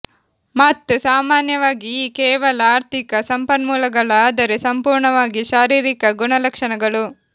ಮತ್ತು ಸಾಮಾನ್ಯವಾಗಿ ಈ ಕೇವಲ ಆರ್ಥಿಕ ಸಂಪನ್ಮೂಲಗಳ ಆದರೆ ಸಂಪೂರ್ಣವಾಗಿ ಶಾರೀರಿಕ ಗುಣಲಕ್ಷಣಗಳು